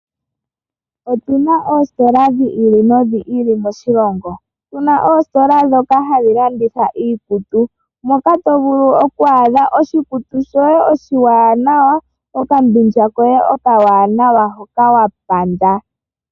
Otuna oositola dhi ili nodhi ili moshilongo ,tuna oositola dhokanhadhi landitha iikutu noka to vulu okwaadha oshikutu shoye oshiwanawa okambindja koye okawanwa hoka wa panda.